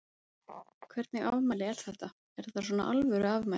Hvernig afmæli er þetta, er þetta svona alvöru afmæli?